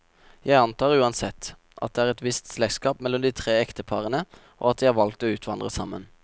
Jeg antar uansett, at det er et visst slektskap mellom de tre ekteparene, og at de har valgt å utvandre sammen.